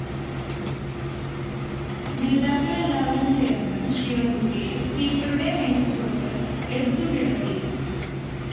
നേതാക്കളെല്ലാവരും ചേര്‍ന്ന് ശിവന്‍കുട്ടിയെ സ്പീക്കറുടെ മേശപ്പുറത്ത് എടുത്തുകിടത്തി